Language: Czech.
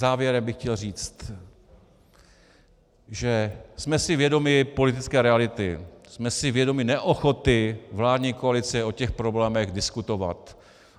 Závěrem bych chtěl říct, že jsme si vědomi politické reality, jsme si vědomi neochoty vládní koalice o těch problémech diskutovat.